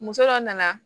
Muso dɔ nana